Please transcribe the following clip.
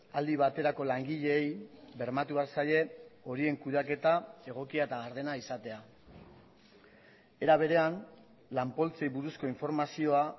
aldi baterako langileei bermatu behar zaie horien kudeaketa egokia eta gardena izatea era berean lan poltsei buruzko informazioa